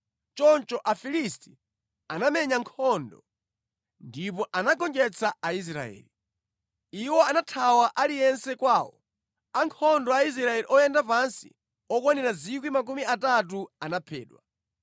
Choncho Afilisti anamenya nkhondo, ndipo anagonjetsa Aisraeli. Iwo anathawa aliyense kwawo. Ankhondo a Aisraeli oyenda pansi okwanira 30,000 anaphedwa.